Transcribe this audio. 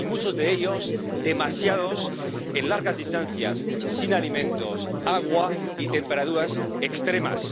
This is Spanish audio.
Y muchos de ellos, demasiados, en largas distancias sin alimentos ni agua y a temperaturas extremas.